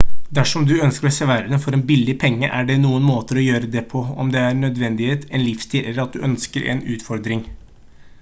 dersom du ønsker å se verden for en billig penge er det noen måter å gjøre det på om det er av nødvendighet en livsstil eller at du ønsker en utfordring